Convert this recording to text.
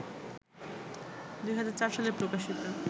২০০৪ সালে প্রকাশিত